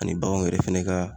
Ani baganw yɛrɛ fɛnɛ ka